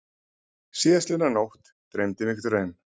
Síðastliðna nótt dreymdi mig draum.